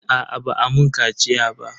Aa ba a mun kaciya ba.